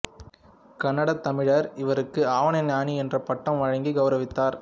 கனடாத் தமிழர் இவருக்கு ஆவணஞானி என்ற பட்டம் வழங்கிக் கௌரவித்தனர்